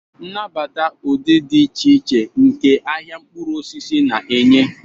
Nabata ụdị dị iche iche nke ahịa mkpụrụ osisi na-enye.